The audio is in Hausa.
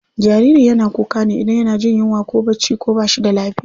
Jariri yana kuka ne idan yana jin yunwa ko bacci ko bashi da lafiya.